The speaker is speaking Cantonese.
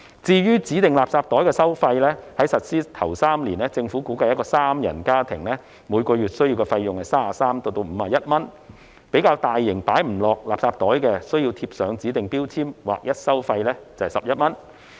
至於指定垃圾袋的收費，在實施首3年，政府估計一個三人家庭每月所需的費用介乎33元至51元，較大型而無法放入指定垃圾袋的垃圾，則需要貼上指定標籤，劃一收費11元。